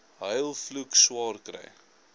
huil vloek swaarkry